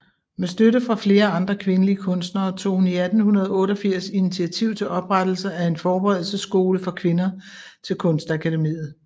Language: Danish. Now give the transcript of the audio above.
Med støtte fra flere andre kvindelige kunstnere tog hun 1888 initiativ til oprettelsen af en forberedelsesskole for kvinder til Kunstakademiet